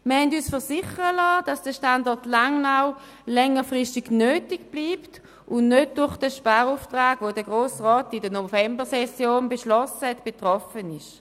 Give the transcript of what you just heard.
Wir liessen uns versichern, dass der Standort Langnau längerfristig nötig bleibt und nicht durch den Sparauftrag, den der Grosse Rat in der Novembersession beschlossen hat, betroffen wird.